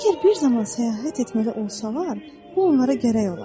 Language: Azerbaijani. Əgər bir zaman səyahət etməli olsalar, bu onlara gərək olar.